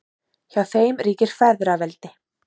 Hjá þeim ríkir feðraveldi.